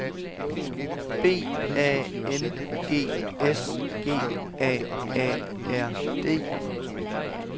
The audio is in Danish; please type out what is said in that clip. B A N G S G A A R D